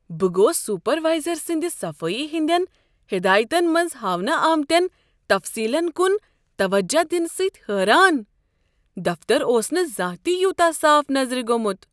بہٕ گوٚوس سپروایزر سٕنٛد صفٲیی ہٕنٛدین ہدایتن منٛز ہاونہٕ آمتٮ۪ن تفصیلن کن توجہ دنہٕ سۭتۍ حٲران۔ دفتر اوس نہٕ زانٛہہ تہ یوتاہ صاف نظر گوٚمُت۔